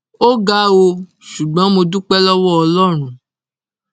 ó ga ọ ṣùgbọn mo dúpẹ lọwọ ọlọrun